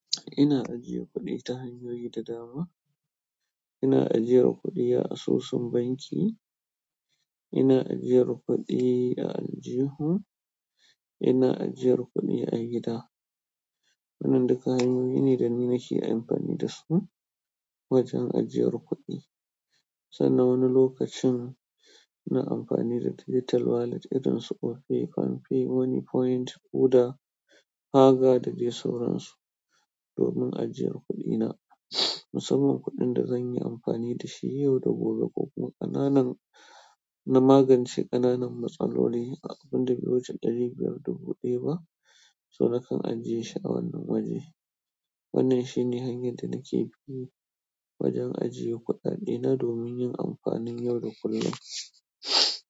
Ina ajiyar kuɗi ta hanyoyi da dama ina ajiyar kuɗi a asusun banki ina ajiyar kuɗi a aljihu ina ajiyar kuɗi a gida waɗannan duka hanyoyi ne da nake amfani da su wajen ajiyar kuɗi. Sannan wani lokacin ina amfani da digital wallet irin su Opay, Palmpay, Moniepoint, kuda, Haga da dai sauransu domin ajiyar kuɗina. Musammun kuɗin da zanyi amfani da shi yau da gobe ko kuma ƙananan-- na magance ƙananun matsaloli a abun da be wuce ɗari biyar dubu ɗaya ba, so nakan ajiye shi a wannan waje. Wannan shi ne hanyar da nake bi wajen ajiye kuɗaɗena domin yin amfanin yau da kullum.